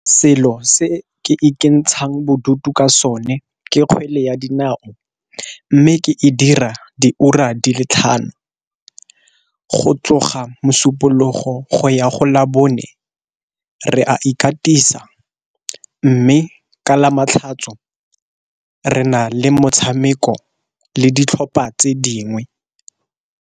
Selo se ke ikentshang bodutu ka sone ke kgwele ya dinao, mme ke e dira diura di le tlhano. Go tloga mosupologo go ya go la bone re a ikatisa, mme ka lamatlhatso re na le motshameko le ditlhopha tse dingwe.